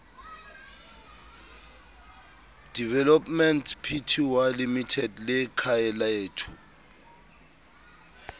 developments pty limited le khayalethu